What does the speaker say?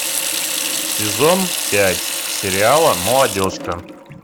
сезон пять сериала молодежка